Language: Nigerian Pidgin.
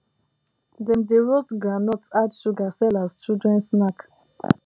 dem dey roast groundnut add sugar sell as children snack